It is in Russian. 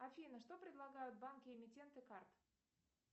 афина что предлагают банки эмитенты карт